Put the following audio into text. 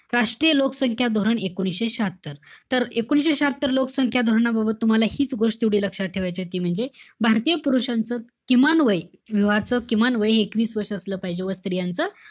राष्ट्रीय लोकसंख्या धोरण, एकोणीशे शहात्तर. तर एकोणीशे शहात्तर लोकसंख्या धोरणाबाबत तुम्हाला हीच गोष्ट एवढी लक्षात ठेवायचीय. ती म्हणजे, भारतीय पुरुषांचं, किमान वय, लग्नाचं किमान वय एकवीस वर्ष असलं पाहिजे. व स्त्रियांचं,